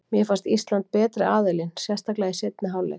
Mér fannst Ísland betri aðilinn, sérstaklega í seinni hálfleik.